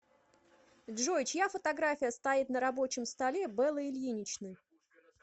джой чья фотография стоит на рабочем столе беллы ильиничны